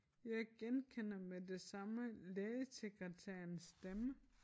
Jeg genkender med det samme lægesekretærens stemme